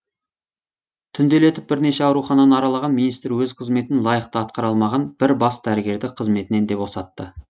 түнделетіп бірнеше аурухананы аралаған министр өз қызметін лайықты атқара алмаған бір бас дәрігерді қызметінен де босатты